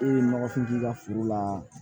E ye nɔgɔfin ka foro la